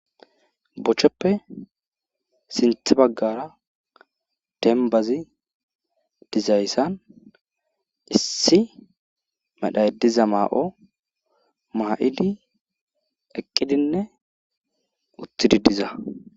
Bochoppe sinthe baggaara dembbazi duzayssan issi medhay diza maa7o maa7idi eqqidinne uttidi diza.